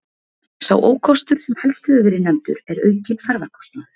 Sá ókostur sem helst hefur verið nefndur er aukinn ferðakostnaður.